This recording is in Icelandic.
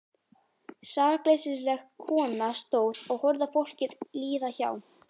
Sakleysisleg kona stóð og horfði á fólkið líða hjá.